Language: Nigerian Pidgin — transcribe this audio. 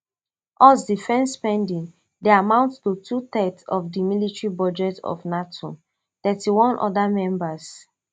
us defence spending dey amount to twothirds of di military budgets of nato thirty-one oda members